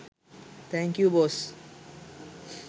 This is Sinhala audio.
thank you boss